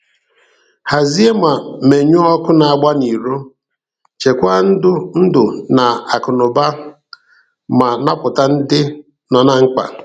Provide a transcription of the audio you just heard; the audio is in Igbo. Hazie ma menyụọ ọkụ na-agba n'iro, chekwaa ndụ na akụnụba ma napụta ndị nọ na mkpa.